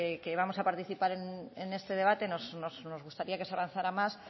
que vamos a participar en este debate nos gustaría que se avanzara más